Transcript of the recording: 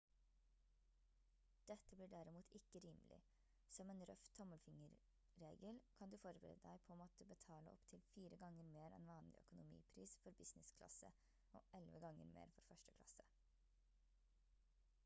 dette blir derimot ikke rimelig som en røff tommelfingerregel kan du forberede deg på å måtte betale opptil fire ganger mer enn vanlig økonomipris for business-klasse og elleve ganger mer for første klasse